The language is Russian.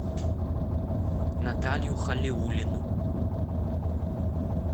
наталью халиуллину